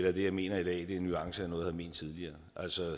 at det jeg mener i dag er nuancer af noget ment tidligere